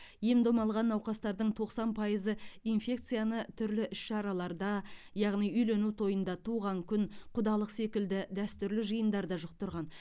ем дом алған науқастардың тоқсан пайызы инфекцияны түрлі іс шараларда яғни үйлену тойында туған күн құдалық секілді дәстүрлі жиындарда жұқтырған